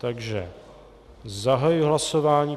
Takže zahajuji hlasování.